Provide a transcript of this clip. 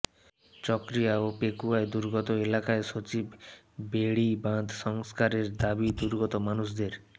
চকরিয়া ও পেকুয়ায় দুর্গত এলাকায় সচিব বেড়িবাঁধ সংস্কারের দাবি দুর্গত মানুষের